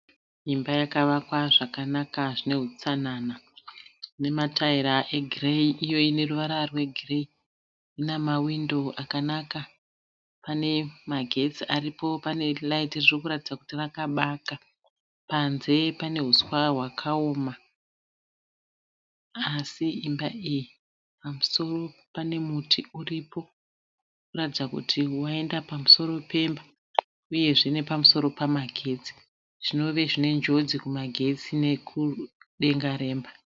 Imba yakavakwa zvakanaka zvinehutsanana. Nemataira egireyi iyo ineruvara rwegireyi. Inamawindo akanaka. Pane magetsi aripo, pane raiti ririkuratidza kuti rakabaka. Panze pane huswa hwakaoma. Asi imba iyi, pamusoro pane muti uripo unoratidza kuti waenda pamusoro pemba uyezve nepamusoro pemagetsi. Zvinova zvinejodzi pamagetsi nekudenga remba .